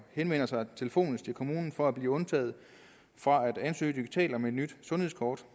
henvender sig telefonisk til kommunen for at blive undtaget fra at ansøge digitalt om et nyt sundhedskort